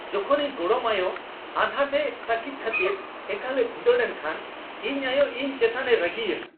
ᱡᱚᱠᱷᱚᱱ ᱤᱧ ᱜᱚᱲᱚᱢ ᱟᱭᱳ ᱟᱸᱫᱷᱟ ᱛᱮ ᱛᱟᱹᱠᱤᱡ ᱠᱷᱟᱹᱛᱤᱨ ᱮᱠᱟᱞᱼᱮ ᱵᱷᱤᱸᱫᱟᱹᱲ ᱮᱱ ᱠᱷᱟᱱ ᱤᱧ ᱟᱭᱳ ᱤᱧ ᱮᱪᱛᱟᱱᱮ ᱨᱟᱹᱜᱤᱭᱮᱱᱟ ᱾